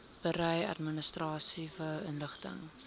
berei administratiewe inligting